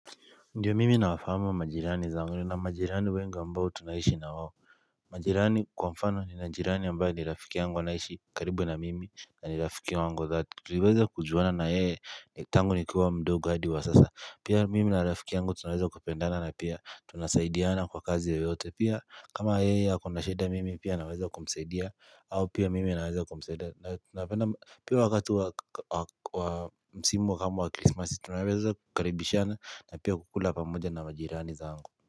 Ndio mimi nawafahamu majirani zangu nina majirani wengi ambao tunaishi na wao majirani kwa mfano ni na jirani ambayo nirafiki yangu anaishi karibu na mimi na nirafiki wangu wa dhati tuliweza kujuana na yeye tangu nikiwa mdogo adi wa sasa Pia mimi na rafiki yangu tunaweza kupendana na pia tunasaidiana kwa kazi ya yoyote pia kama yeye ako na shida mimi pia naweza kumsaidia au pia mimi naweza kumsaidia na napenda pia wakati wa msimu kama wa christmasi tunaweza kukaribishana na pia kukula pamoja na majirani za angu.